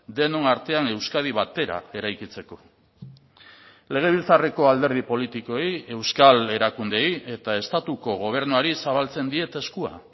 denon artean euskadi batera eraikitzeko legebiltzarreko alderdi politikoei euskal erakundeei eta estatuko gobernuari zabaltzen diet eskua